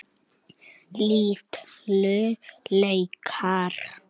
Litlu laukar.